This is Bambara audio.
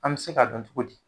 An bi se ka dɔn togo di?